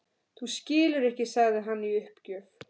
Þú skilur ekki sagði hann í uppgjöf.